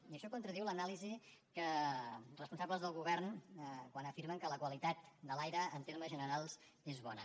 i això contradiu l’anàlisi de responsables del govern quan afirmen que la qualitat de l’aire en termes generals és bona